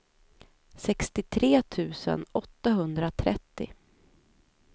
sextiotre tusen åttahundratrettio